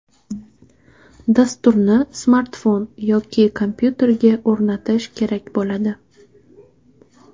Dasturni smartfon yoki kompyuterga o‘rnatish kerak bo‘ladi.